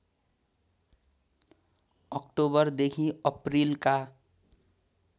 अक्टोबरदेखि अप्रिलका